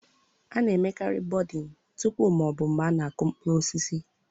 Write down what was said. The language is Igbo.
A na-emekarị buding tupu ma ọ bụ mgbe a na-aku mkpụrụ osisi.